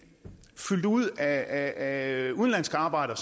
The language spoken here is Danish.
fyldt ud af af udenlandske arbejdere